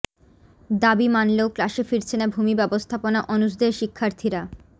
দাবি মানলেও ক্লাসে ফিরছে না ভূমি ব্যবস্থাপনা অনুষদের শিক্ষার্থীরা